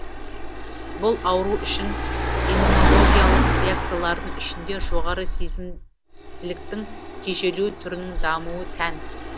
бұл ауру үшін иммунологиялық реакциялардың ішінде жоғары сезімділіктің тежелу түрінің дамуы тән